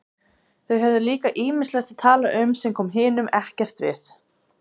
Þau höfðu líka ýmislegt að tala um sem kom hinum ekkert við.